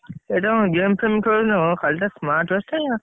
ଏଇଟା କଣ game ଫେମ ଖେଳିଲେ ହବ ଖାଲିତ smart watch ଟା।